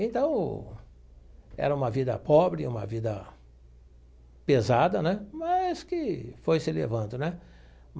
Então, era uma vida pobre, uma vida pesada né, mas que foi se levando né